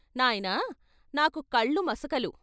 నాయనా నాకు కళ్ళు మసకలు.